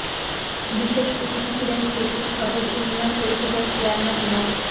বিশেষ অতিথি ছিলেন শ্রীপুর সদর ইউনিয়ন পরিষদের চেয়ারম্যান মো